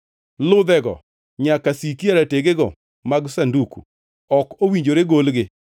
Ludhego nyaka siki ei rategego mag sanduku; ok owinjore golgi.